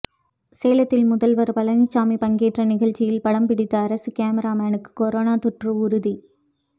சேலத்தில் முதல்வர் பழனிசாமி பங்கேற்ற நிகழ்ச்சியில் படம்பிடித்த அரசு கேமராமேனுக்கு கொரோனா தொற்று உறுதி